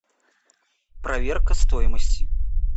проверка стоимости